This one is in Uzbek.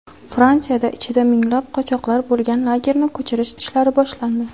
Fransiyada ichida minglab qochoqlar bo‘lgan lagerni ko‘chirish ishlari boshlandi.